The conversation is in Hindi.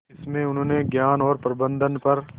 इसमें उन्होंने ज्ञान और प्रबंधन पर